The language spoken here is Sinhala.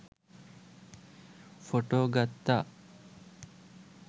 ෆොටෝ ගත්තා.